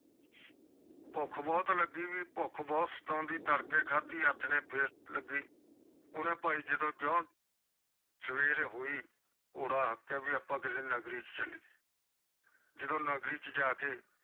ਭੁੱਖ ਬਹੁਤ ਲੱਗੀ ਭੁੱਖ ਬਹੁਤ ਸਤਾਉਂਦੀ ਤੜਕੇ ਖਾਦੀ ਆਥਣੇ ਬਹੁਤ ਸਤਾਉਂਦੇ ਸਵੇਰ ਹੋਈ ਕੋਰਾ ਵੀ ਆਪ ਕੀਤੇ ਨਗਰੀ ਚ ਚਲੀਏ ਜਦੋ ਨਗਰੀ ਚ ਜਾ ਕੇ